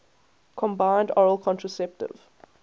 combined oral contraceptive